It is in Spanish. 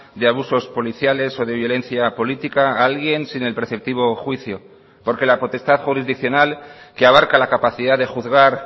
de abusos policiales o de violencia política a alguien sin el preceptivo juicio porque la potestad jurisdiccional que abarca la capacidad de juzgar